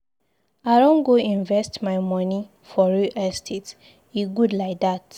I don go invest my moni for real estate, e good lai dat.